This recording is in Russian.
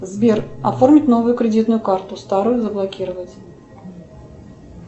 сбер оформить новую кредитную карту старую заблокировать